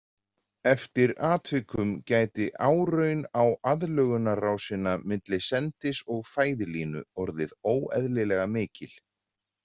Eftir atvikum gæti áraun á aðlögunarrásina milli sendis og fæðilínu orðið óeðlilega mikil.